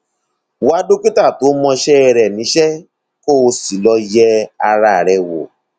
wá dókítà tó mọṣẹ rẹ níṣẹ kó o sì lọ yẹ ara rẹ wò